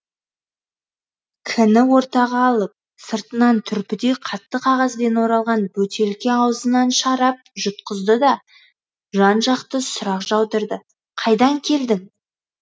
к ні ортаға алып сыртынан түрпідей қатты қағазбен оралған бөтелке аузынан шарап жұтқызды да жан жақты сұрақ жаудырды қайдан келдің